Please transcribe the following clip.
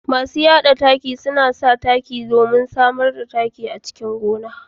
Masu yada taki suna taimakawa wajen samar da taki a gona